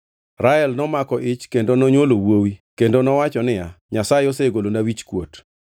Rael nomako ich kendo nonywolo wuowi kendo nowacho niya, “Nyasaye osegolona wichkuot.”